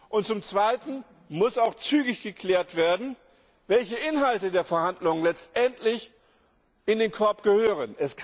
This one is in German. Und zum Zweiten muss auch zügig geklärt werden, welche Inhalte der Verhandlungen letztendlich in den Korb gehören.